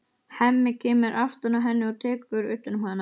Hemmi kemur aftan að henni og tekur utan um hana.